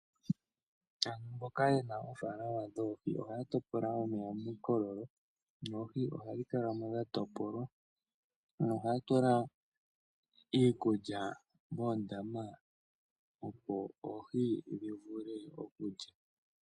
Aantu mboka yena oofaalama dhoohi ohaa topola omeya miikololo noohi ohadhi kala mo dhatopolwa nohaa tula iikulya moondama opo oohi dhivule okulya.